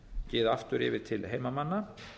umfangið aftur yfir til heimamanna